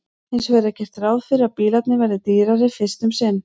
Hins vegar er gert ráð fyrir að bílarnir verði dýrari fyrst um sinn.